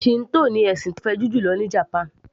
Shinto ní ẹ̀sìn tó fẹjú jùlọ ní japan